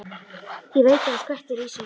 Ég veit að hann skvettir í sig.